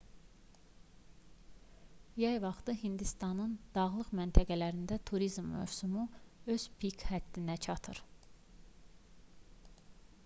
yay vaxtı hindistanın dağlıq məntəqələrində turizm mövsümü öz pik həddinə çatır